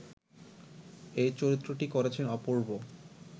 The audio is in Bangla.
এই চরিত্রটি করেছেন অপূর্ব